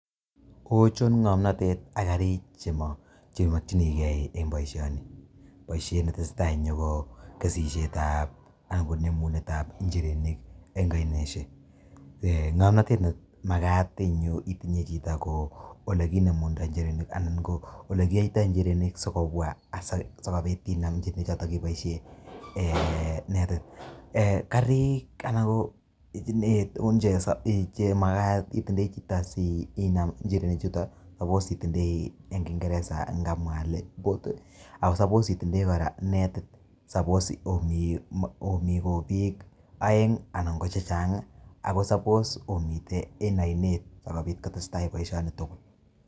Ochon ngomnatet ak karik cheimokyinigei eng boisioni, boisiet neteseta en yu ko kesisietab anan ko nemunetab njirenik eng oinaisiek. Ngomnatet nemagat eng yu itinye chito ko oleginemunda njirenik anan ko olekiyaitoi injirenik sigobwa asigopit inam inirenik choto iboisie karik ana ko itinye tugun chemagat utindoi chito sinam injirenichuto ko suppose itindoi eng kingeresa ngamwa ale boat ago suppose kora netit. Suppose omi obiik aeng anan ko chechang ago suppose omiten en ainet sigopit kotestai boisioni tugul.